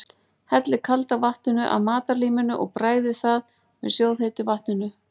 Hellið kalda vatninu af matarlíminu og bræðið það með sjóðheitu vatninu.